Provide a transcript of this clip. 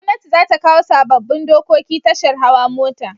Gwamnati zata kawo sabobin dokoki tashar hawa mota